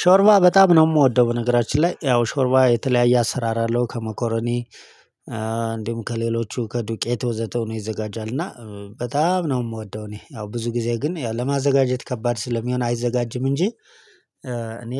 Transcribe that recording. ሾርባ በጣም ነው የምወደው። በነገራችን ላይ ያው ሾርባ የተለያየ አሰራር አለው ከመኮረኒ እንዲሁም ከሌሎቹ ከዱቄት ወዘተ ሆኖ ይዘጋጃል። እና በጣም ነው የምወደው። እኔ ያው ብዙ ጊዜ ግን ለማዘጋጀት ከባድ ስለሚሆን አይዘጋጅም። እንጂ እኔ